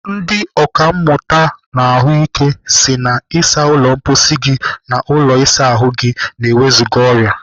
Ndị ọkàmmụta n'ahụike si na ịsa ụlọ mkposi gị na ụlọ ịsa ahụ gị na-ewezụga ọrịa.